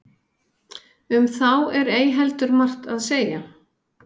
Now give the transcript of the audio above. um þá er ei heldur margt að segja